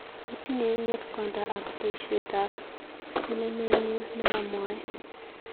Itinye ng'etkonda ak baishetab sinemenyu nemamwae.